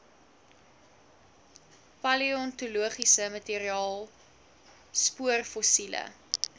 paleontologiese materiaal spoorfossiele